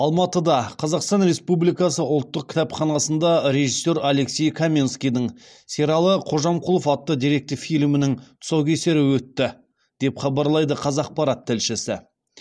алматыда қазақстан республикасы ұлттық кітапханасында режиссер алексей каменскийдің сералы қожамқұлов атты деректі фильмінің тұсаукесері өтті деп хабарлайды қазақпарат тілшісі